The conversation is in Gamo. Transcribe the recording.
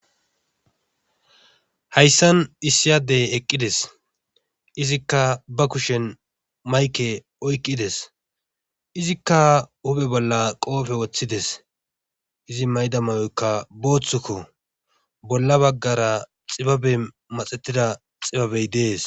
Hayssan issi adde eqqides . Izikka ba kushen maykke oyqqides. Izikka huuphe bolla qoophe wothides. izi mayda mayokka boothikko bolla bagara xibaben maxetida xibabe dees.